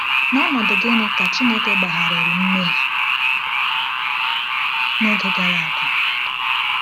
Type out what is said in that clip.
N’ọnọdụ gịnị ka Chineke gbagharịrị mmehie n’oge gara aga?